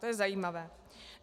To je zajímavé.